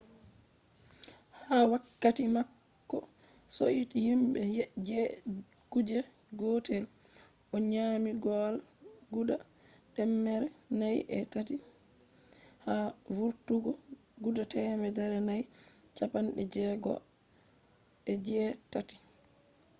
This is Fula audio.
ha wakkati mako be himbe je kuje gotel o nyami goal guda temmere nayi e tati ha vurtugo guda temmere nayi chappande jegoo e jee tati